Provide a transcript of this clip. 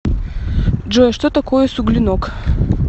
джой что такое суглинок